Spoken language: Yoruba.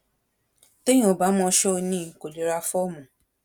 téèyàn ò bá mọ ṣòníín kó lè ra fọ́ọ̀mù